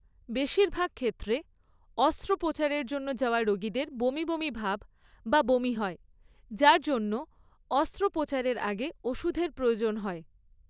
বেশিরভাগ ক্ষেত্রে, অস্ত্রোপচারের জন্য যাওয়া রোগীদের বমি বমি ভাব বা বমি হয় যার জন্য অস্ত্রোপচারের আগে ওষুধের প্রয়োজন হয়।